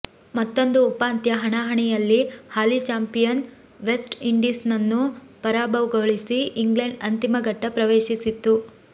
ಮತ್ತೊಂದು ಉಪಾಂತ್ಯ ಹಣಾಹಣಿಯಲ್ಲಿ ಹಾಲಿ ಚಾಪಿಂಯನ್ ವೆಸ್ಟ್ ಇಂಡೀಸ್ನನ್ನು ಪರಾಭವಗೊಳಿಸಿ ಇಂಗ್ಲೆಂಡ್ ಅಂತಿಮ ಘಟ್ಟ ಪ್ರವೇಶಿಸಿತ್ತು